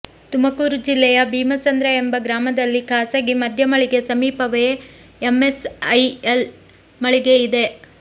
ತುಮಕೂರು ಜಿಲ್ಲೆಯ ಭೀಮಸಂದ್ರ ಎಂಬ ಗ್ರಾಮದಲ್ಲಿ ಖಾಸಗಿ ಮದ್ಯ ಮಳಿಗೆ ಸಮೀಪವೇ ಎಂಎಸ್ಐಎಲ್ ಮಳಿಗೆ ಇದೆ